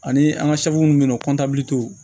Ani an ka minnu bɛ yen nɔ